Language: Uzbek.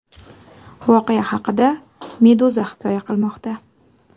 Voqea haqida Meduza hikoya qilmoqda .